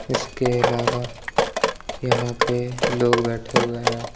इसके अलावा यहाँ पे लोग बैठे हुए हैं।